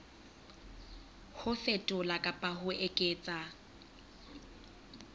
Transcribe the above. ho fetola kapa ho eketsa